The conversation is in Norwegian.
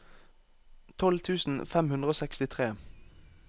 tolv tusen fem hundre og sekstitre